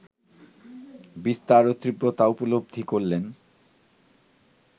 বিস্তার ও তীব্রতা উপলব্ধি করলেন